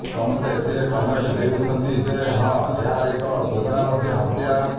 ସମସ୍ତେ ଏଥିରେ କମେଣ୍ଟ ଦେଉଛନ୍ତି ଯେ ହଁ ଏହା ଏକ ଯୋଜନାବଦ୍ଧ ହତ୍ୟା